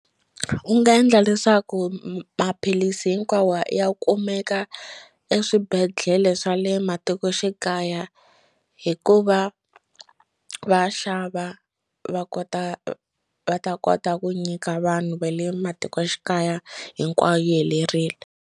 U nga endla leswaku maphilisi hinkwawo ya kumeka eswibedhlele swa le matikoxikaya hikuva va xava va kota va ta kota ku nyika vanhu va le matikoxikaya hinkwayo yi helerile.